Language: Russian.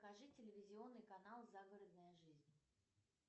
покажи телевизионный канал загородная жизнь